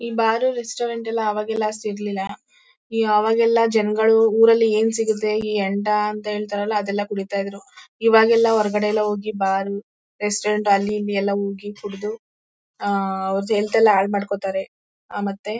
ಈ bar restaurant ಎಲ್ಲಾ ಆವಾಗೆಲ್ಲ ಅಷ್ಟಿರಲಿಲ್ಲ ಆವಾಗೆಲ್ಲ ಜನ್ಗಳು ಊರಲ್ಲಿ ಏನ್ ಸಿಗತ್ತೆ ಈ ಹೆಂಡ ಅಂತ ಹೇಳ್ತಾರಲ್ಲಾ ಅದೆಲ್ಲ ಕುಡಿತಾ ಇದ್ರು ಈವಾಗೆಲ್ಲ ಹೊರಗಡೆ ಎಲ್ಲಾ ಹೋಗಿ ಬಾರು ರೆಸ್ಟೋರೆಂಟು ಅಲ್ಲಿ ಇಲ್ಲಿ ಎಲ್ಲಾ ಹೋಗಿ ಕುಡಿದು ಅವ್ರ ಹೆಲ್ತ್ ಎಲ್ಲಾ ಹಾಳ್ ಮಾಡ್ಕೋತಾರೆ ಮತ್ತೆ -